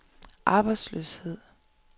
arbejdsløshed